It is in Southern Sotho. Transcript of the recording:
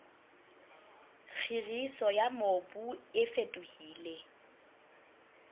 kgiriso ya mobu e fetohile